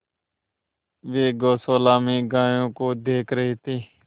वे गौशाला में गायों को देख रहे थे